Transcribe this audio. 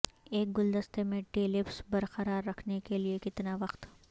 ایک گلدستے میں ٹیلپس برقرار رکھنے کے لئے کتنا وقت